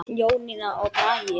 Jónína og Bragi.